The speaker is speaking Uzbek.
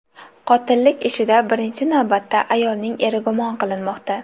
Qotillik ishida birinchi navbatda ayolning eri gumon qilinmoqda.